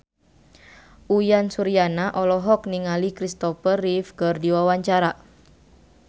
Uyan Suryana olohok ningali Kristopher Reeve keur diwawancara